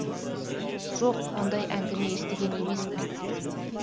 жоқ ондай әңгіме естіген емеспін